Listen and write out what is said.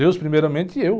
Deus primeiramente e eu.